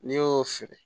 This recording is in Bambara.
N'i y'o feere